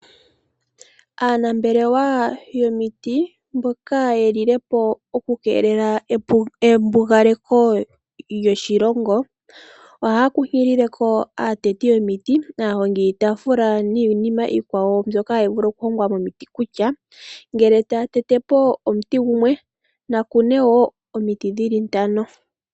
Aanambelewa yomiti mboka yeli le po oku keelela embigaleko lyoshilongo, ohaya kunkilile aateti yomiti, aahongi yiitaafula niinima iikwawo mbyoka hayi vulu oku hongwa miiti kutha ngele taya tete po omuti gumwe, Naya kune wo omiti dhili ntano.